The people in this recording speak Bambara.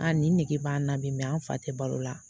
A ni nege b'an na bi; ; an fa tɛ balo la.